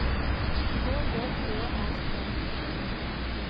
K J Ø R E